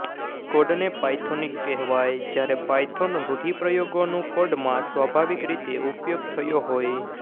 કોડને પાયથોનિક કહેવાય જયારે પાયથોન રૂઢિપ્રયોગોનું કોડમાં સ્વાભાવિક રીતે ઉપયોગ થયો હોય